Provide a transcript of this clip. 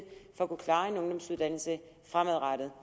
for at kunne klare en ungdomsuddannelse fremadrettet